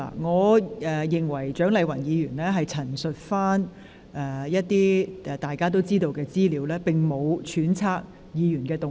我認為蔣麗芸議員只是陳述一些大家已知的資料，並無揣測議員的動機。